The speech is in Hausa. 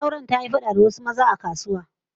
Matar auren ta yi fada da wasu maza a kasuwa